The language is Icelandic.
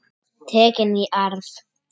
Tekin í arf.